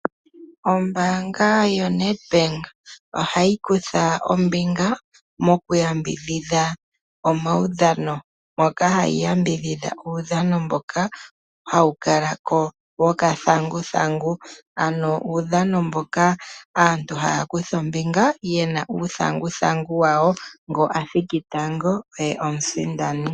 Ombaanga yoNedbank ohayi kutha ombinga moku yambidhidha omaudhano, moka hayi yambidhidha uudhano mboka hawu kala ko wokathanguthangu, ano uudhano mboka aantu haya kutha ombinga ye na uuthanguthangu wawo ngoka athiki tango oye omusindani.